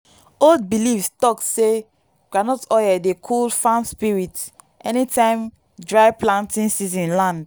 old belief talk say groundnut oil dey cool farm spirits anytime dry planting season land.